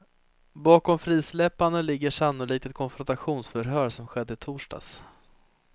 Bakom frisläppandet ligger sannolikt ett konfrontationsförhör som skedde i torsdags.